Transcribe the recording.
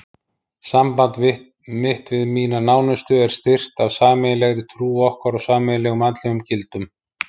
Samband mitt við mína nánustu er styrkt af sameiginlegri trú okkar og sameiginlegum andlegum gildum.